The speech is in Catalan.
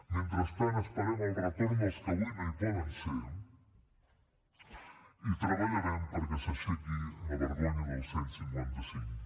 mentrestant esperem el retorn dels que avui no hi poden ser i treballarem perquè s’aixequi la vergonya del cent i cinquanta cinc